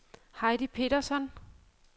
Heidi Petersson